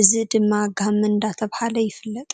እዚ ድማ ጋመ እንዳተብሃለ ይፍለጥ።